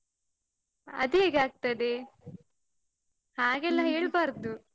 ಅದ್ಹೇಗ್ ಆಗ್ತದೆ? ಹಾಗೆಲ್ಲಾ ಹೇಳ್ಬಾರ್ದು.